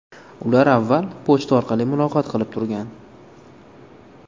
Ular avval pochta orqali muloqot qilib turgan.